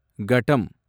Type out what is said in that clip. கடம்